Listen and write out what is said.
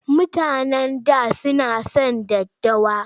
Mutanen da suna son daddawa.